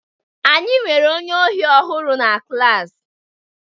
Anyị nwere onye ohi ọhụrụ na klas.